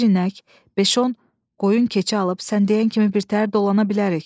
Bir inək, beş-on qoyun-keçi alıb sən deyən kimi birtəhər dolana bilərik.